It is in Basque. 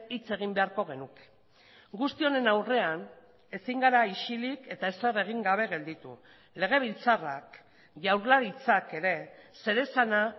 hitz egin beharko genuke guzti honen aurrean ezin gara isilik eta ezer egin gabe gelditu legebiltzarrak jaurlaritzak ere zeresana